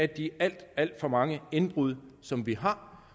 de alt alt for mange indbrud som vi har